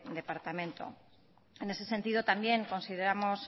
departamento en ese sentido también consideramos